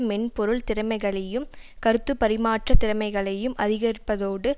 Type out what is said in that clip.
மென்பொருள் திறமைகளையும் கருத்து பரிமாற்ற திறமைகளையும் அதிகரிப்பதோடு